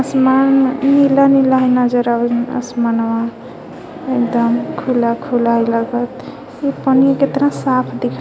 आसमान नीला - नीला ह नजर आवे असमानवा एकदम खुला - खुला लगत इ पनिया केतना साफ दीख--